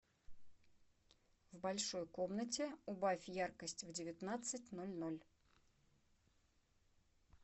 в большой комнате убавь яркость в девятнадцать ноль ноль